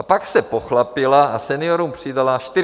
A pak se pochlapila a seniorům přidala 45 korun.